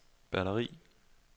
batteri